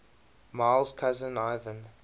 miles cousin ivan